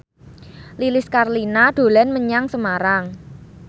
Lilis Karlina dolan menyang Semarang